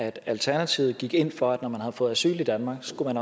at alternativet gik ind for at når man har fået asyl i danmark skulle man